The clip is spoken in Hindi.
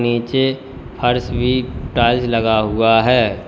नीचे फर्श भी टाइल्स लगा हुआ है।